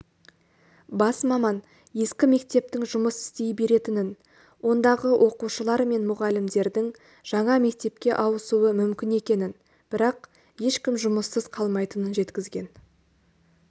бас маман ескі мектептің жұмыс істей беретінін ондағы оқушылар мен мұғалімдердің жаңа мектепке ауысуы мүмкін екенін бірақ ешкім жұмыссыз қалмайтынын жеткізген